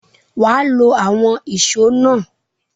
Wà á lo àwọn ìṣó náà!